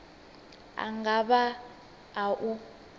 a nga vha a u